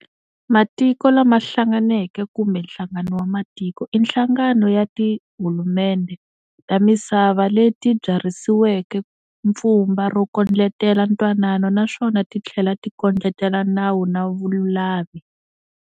Matiko la ma hlanganeke kumbe Nhlangano wa Matiko i nhlangano ya tihulumendhe ta misava leti byarhisiweke pfumba ro kondletela ntwanano naswona tithlela ti kodletela nawu na vululami.